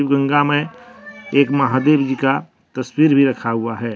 गंगा में एक महावीर जी का तस्वीर भी रखा हुआ है।